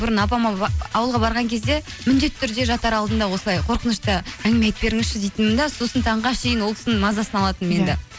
бұрын апама ауылға барған кезде міндетті түрде жатар алдында осылай қорқынышты әңгіме айтып біріңізші дейтінмін де сосын таңға ол кісінің мазасын алатынмын енді